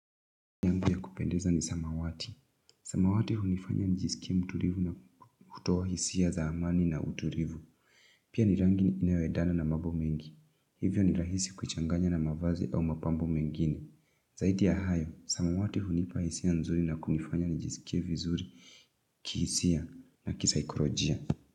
Kupendeza ni samawati. Samawati hunifanya nijisikie mtulivu na kutoa hisia za amani na utulivu. Pia ni rangi inayoendana na mambo mengi. Hivyo ni rahisi kuchanganya na mavazi au mapambo mengine. Zaidi ya hayo, samawati hunipa hisia nzuri na kunifanya nijisikie vizuri kihisia na kisaikolojia.